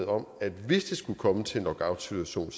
om at hvis det skulle komme til en lockoutsituation